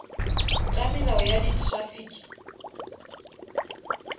tša melao ya di traffic